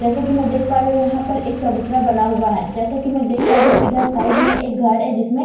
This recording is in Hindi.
जैसा कि मैं देख पा रही हूं यहां एक चबूतरा बना हुआ है जैसा कि मैं देख पा रही हूं इधर साइड में एक घर है जिसमें पाइप --